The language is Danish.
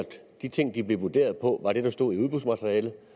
de ting de blev vurderet på var det der stod i udbudsmaterialet